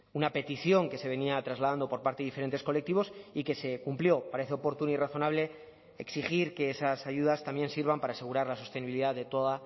una petición que se venía trasladando por parte de diferentes colectivos y que se cumplió parece oportuno y razonable exigir que esas ayudas también sirvan para asegurar la sostenibilidad de toda